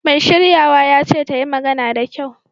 Mai shiryawa ya ce ta yi magana da kyau!